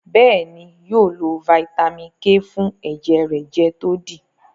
béèni yóò lo Vitamin k fún ẹjẹ rẹ jẹ to di.